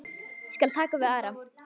Ég skal taka við Ara.